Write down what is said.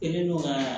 Kɛlen don ka